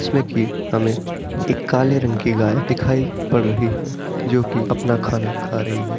इसमें कि हमें एक काले रंग की गाय दिखाई पड़ रही है जो कि अपना खाना खा रही है।